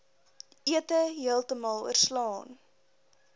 ete heeltemal oorslaan